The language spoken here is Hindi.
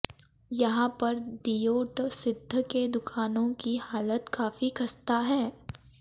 यहां पर दियोटसिद्ध के दुकानों की हालत काफी खस्ता है